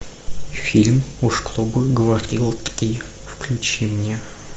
фильм уж кто бы говорил три включи мне